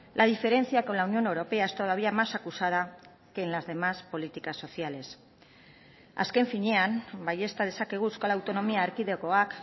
la diferencia con la unión europea es todavía más acusada que en las demás políticas sociales azken finean baiezta dezakegu euskal autonomia erkidegoak